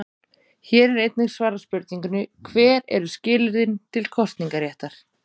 Hér er einnig svarað spurningunni: Hver eru skilyrðin til kosningaréttar?